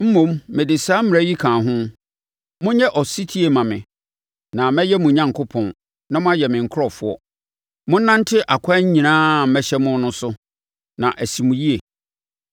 mmom mede saa mmara yi kaa ho: Monyɛ ɔsetie mma me, na mɛyɛ mo Onyankopɔn, na moayɛ me nkurɔfoɔ. Monnante akwan nyinaa a mɛhyɛ mo no so, na asi mo yie.